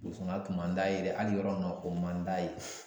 burusikɔnɔna kun man d'a ye dɛ hali yɔrɔ min na o man d'a ye